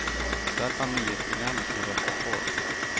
Där fann nyhetsprogrammet sin rätta form.